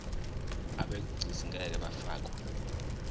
abegcis ngeke bafakwa